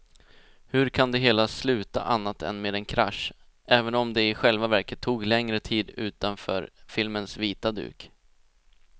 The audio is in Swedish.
Hur kan det hela sluta annat än med en krasch, även om det i själva verket tog längre tid utanför filmens vita duk.